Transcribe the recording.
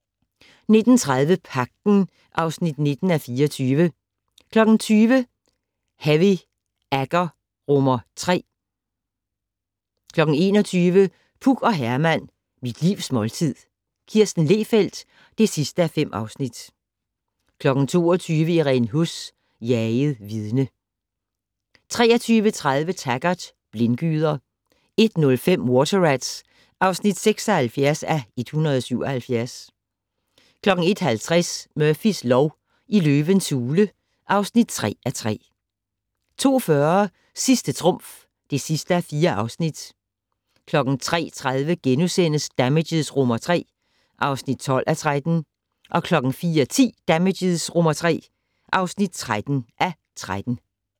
19:30: Pagten (19:24) 20:00: Heavy Agger III 21:00: Puk og Herman - Mit livs måltid - Kirsten Lehfeldt (5:5) 22:00: Irene Huss: Jaget vidne 23:30: Taggart: Blindgyder 01:05: Water Rats (76:177) 01:50: Murphys lov: I løvens hule (3:3) 02:40: Sidste trumf (4:4) 03:30: Damages III (12:13)* 04:10: Damages III (13:13)